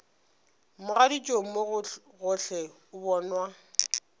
mogaditšong mo gohle o bonwa